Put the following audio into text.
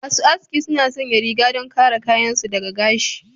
Masu aski suna sanya rigar don kare kayan su daga gashi.